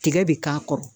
Tigɛ bɛ k'a kɔrɔ